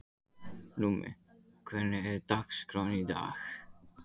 Númi, hvernig er dagskráin í dag?